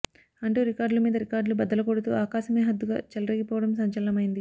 అంటూ రికార్డులు మీద రికార్డులు బద్దలు కొడుతూ ఆకాశమే హద్దుగా చెలరేగిపోవడం సంచలనమైంది